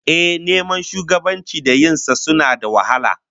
Ehh, neman shugabanci da yin sa suna da wahala